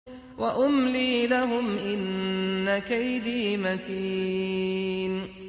وَأُمْلِي لَهُمْ ۚ إِنَّ كَيْدِي مَتِينٌ